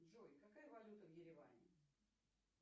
джой какая валюта в ереване